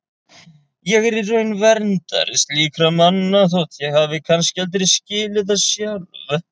Ég er í raun verndari slíkra manna þótt ég hafi kannski aldrei skilið það sjálf.